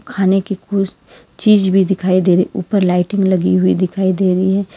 खाने की कुछ चीज भी दिखाई दे रही है ऊपर लाइटिंग लगी हुई दिखाई दे रही है।